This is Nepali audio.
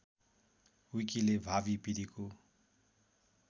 विकीले भावी पीढीको